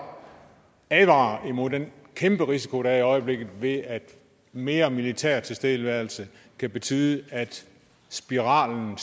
advarer imod den kæmpe risiko der er i øjeblikket ved at mere militær tilstedeværelse kan betyde at spiralen